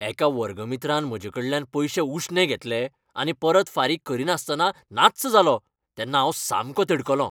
एका वर्गमित्रान म्हजेकडल्यान पयशे उश्णे घेतले आनी परत फारीक करीनासतना नाच्च जालो तेन्ना हांव सामको तिडकलों.